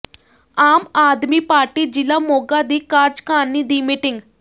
ਆਮ Aadmi party ਜ਼ਿਲ੍ਹਾ ਮੋਗਾ ਦੀ ਕਾਰਜਕਾਰਨੀ ਦੀ ਮੀਟਿੰਗ